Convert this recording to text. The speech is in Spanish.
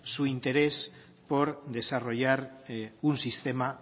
su interés por desarrollar un sistema